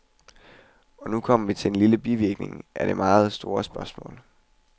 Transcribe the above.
Og nu kommer vi til en lille bivirkning af dette meget store spørgsmål.